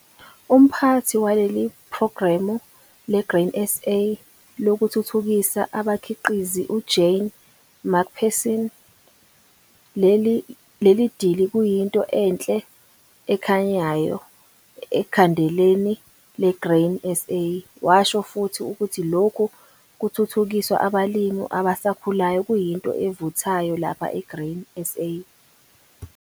Umphathi waleli phrogramu leGrain SA Lokuthuthukisa Abakhiqizi, uJane McPherson, leli dili kuyinto enhle ekhanyayo ekhandeleni leGrain SA. Washo futhi ukuthi lokhu kuthuthukisa abalimi abasakhulayo kuyinto evuthayo lapha eGrain SA.